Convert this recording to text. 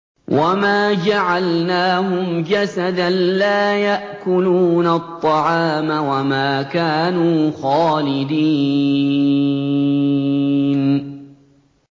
وَمَا جَعَلْنَاهُمْ جَسَدًا لَّا يَأْكُلُونَ الطَّعَامَ وَمَا كَانُوا خَالِدِينَ